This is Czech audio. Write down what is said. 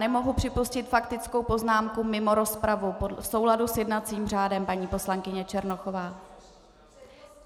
Nemohu připustit faktickou poznámku mimo rozpravu v souladu s jednacím řádem, paní poslankyně Černochová.